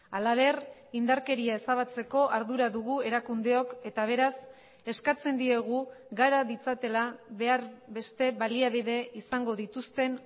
halaber indarkeria ezabatzeko ardura dugu erakundeok eta beraz eskatzen diegu gara ditzatela behar beste baliabide izango dituzten